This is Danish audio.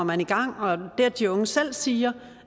man i gang det at de unge selv siger